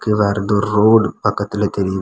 இது வேற ஏதோ ரோடு பக்கத்துல தெரியுது.